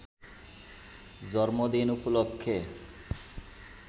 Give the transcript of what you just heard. জন্মদিন উপলক্ষে